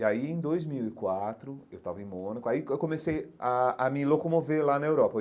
E aí em dois mil e quatro, eu estava em Mônaco, aí eu comecei a a me locomover lá na Europa.